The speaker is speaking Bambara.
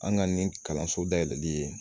An ka nin kalanso dayɛlɛli ye